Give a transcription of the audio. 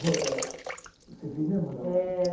Você fez mesmo a aula? É